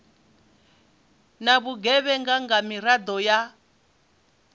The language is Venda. na vhugevhenga nga miraḓo ya